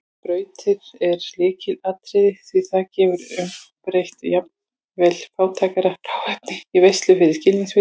Skrautið er lykilatriði því það getur umbreytt jafnvel fátæklegasta hráefni í veislu fyrir skilningarvitin.